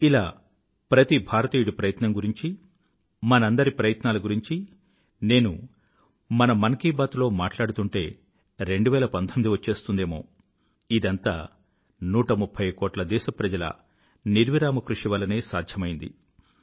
ఇలా ప్రతి భారతీయుడి ప్రయత్నం గురించీ మనందరి ప్రయత్నాల గురించీ నేను మన మన్ కీ బాత్ లో మాట్లాడుతూంటే 2019 వచ్చేస్తుందేమో ఇదంతా 130కోట్ల దేశప్రజల నిర్విరామ కృషి వల్లనే సాధ్యమైంది